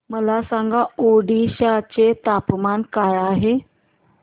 मला सांगा ओडिशा चे तापमान काय आहे